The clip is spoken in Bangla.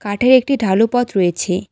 কাঠের একটি ঢালু পথ রয়েছে।